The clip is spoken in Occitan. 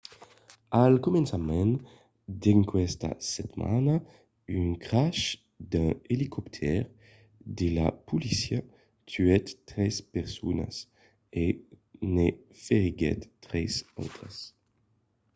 al començament d'aquesta setmana un crash d'un elicoptèr de la polícia tuèt tres personas e ne feriguèt tres autras